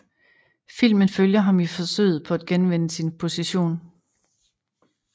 Filmen følger ham i forsøget på at genvinde sin position